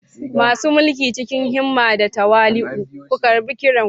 Masu mulki, cikin himma da tawali'u ku karɓi kiran ku.